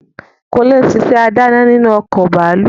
Kúnlé n sisẹ́ adáná nínú ọkọ̀ bàálù